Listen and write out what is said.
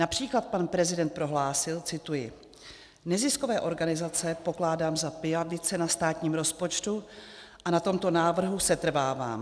Například pan prezident prohlásil, cituji: Neziskové organizace pokládám za pijavice na státním rozpočtu a na tomto návrhu setrvávám.